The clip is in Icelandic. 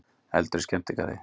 Eldur í skemmtigarði